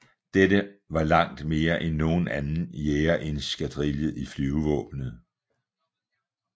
Dette var langt mere end nogen anden jagereskadrille i Flyvevåbnet